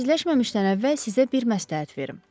Xudafizləşməmişdən əvvəl sizə bir məsləhət verim.